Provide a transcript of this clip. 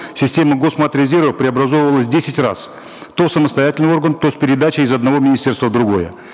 система госматрезерва преобразовывалась десять раз то в самостоятельный орган то с передачей из одного министерства в другое